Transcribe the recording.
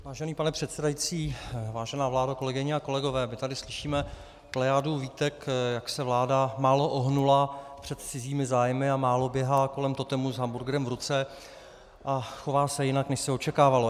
Vážený pane předsedající, vážená vládo, kolegyně a kolegové, my tady slyšíme plejádu výtek, jak se vláda málo ohnula před cizími zájmy a málo běhá kolem totemu s hamburgrem v ruce a chová se jinak, než se očekávalo.